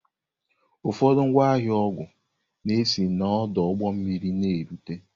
Ụfọdụ ngwa ahịa ọgwụ na-esi n'ọdụ ụgbọ mmiri na-erute.